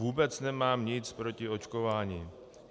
Vůbec nemám nic proti očkování.